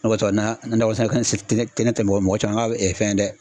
O de ko sɔn na nakɔ sɛnɛ fɛn se te ne tɛ mɔgɔ caman ka ɛ fɛn ye dɛ